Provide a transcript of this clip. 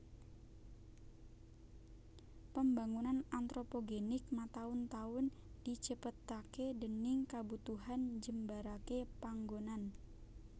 Pembangunan antropogenik mataun taun dicepetaké déning kabutuhan njembaraké panggonan